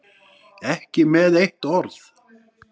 Ekki með eitt orð.